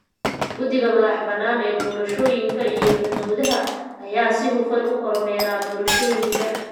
Guddiga madaxa banaan ee doorashooyinka iyo xuduudaha ayaa si hufan u kormeera doorashooyinka.